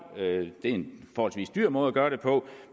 det er en forholdsvis dyr måde at gøre det på